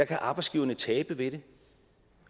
kan arbejdsgiverne tabe ved det